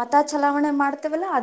ಮತ ಚಲಾವಣೆ ಮಾಡ್ತಿವಲ್ಲ ಅದು.